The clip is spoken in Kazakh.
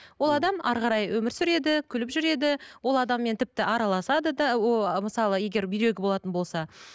ол адам әрі қарай өмір сүреді күліп жүреді ол адаммен тіпті араласады да мысалы егер бүйрегі болатын болса